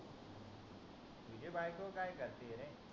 तुझी बायको काय करती रे